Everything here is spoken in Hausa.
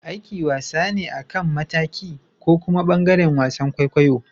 Aiki wasa ne akan mataki. ko kuma bangaren wasan kwaikwayo.